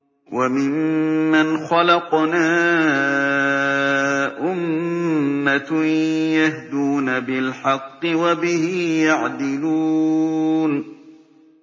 وَمِمَّنْ خَلَقْنَا أُمَّةٌ يَهْدُونَ بِالْحَقِّ وَبِهِ يَعْدِلُونَ